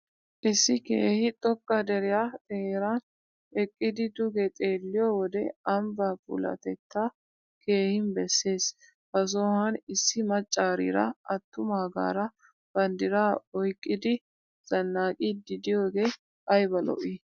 Issi keehi xoqqa deriya xeeran eqqidi duge xeelliyo wode ambba puulatetaa keehin besses. Ha sohuwan issi maccariira atumaagaara bandiraa oyiqqidi zanaqiiddi diyogee ayiba lo'i.